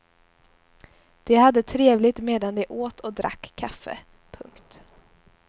De hade trevligt medan de åt och drack kaffe. punkt